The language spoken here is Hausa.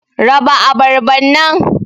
raba abarban nan.